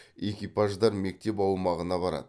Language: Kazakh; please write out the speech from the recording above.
экипаждар мектеп аумағына барады